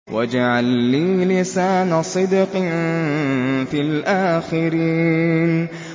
وَاجْعَل لِّي لِسَانَ صِدْقٍ فِي الْآخِرِينَ